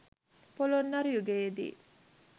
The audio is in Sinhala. පොළොන්නරු යුගයේ දී